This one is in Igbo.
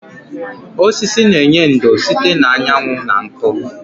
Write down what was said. Osisi na-enye ndò site na anyanwụ na nkụ.